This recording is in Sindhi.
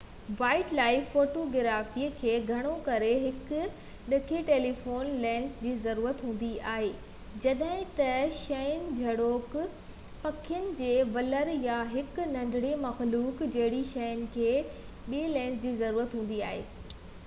وائيلڊ لائف فوٽوگرافي کي گهڻو ڪري هڪ ڊگهي ٽيليفوٽو لينس جي ضرورت هوندي آهي جڏهن ته شين جهڙوڪ پکين جي ولر يا هڪ ننڍڙي مخلوق جهڙين شين کي ٻئي لينس جي ضرورت هوندي آهي